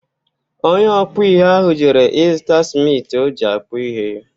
Onye ọkpụ ihe ahụ jere ịzụta smiti o ji akpụ ihe.